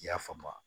I y'a faamu wa